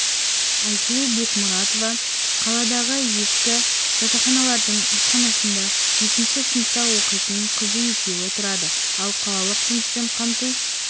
айсұлу бекмұратова қаладағы ескі жатақханалардың асханасында жетінші сыныпта оқитын қызы екеуі тұрады ал қалалық жұмыспен қамту